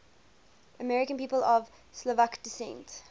american people of slovak descent